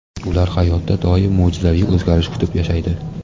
Ular hayotda doim mo‘jizaviy o‘zgarish kutib yashaydi.